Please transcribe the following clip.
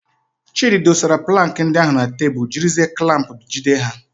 Chidi dosara plankị ndị ahụ na tebụl jiri zie klamp jide ha.